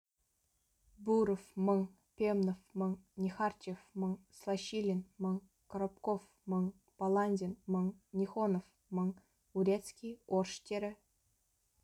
буров мың пемнов мың нехарчев мың слащилин мын коробков мың баландин мың нехонов мың урецкий орштері